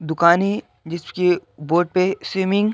दुकान है जिसके बोर्ड पे स्विमिंग --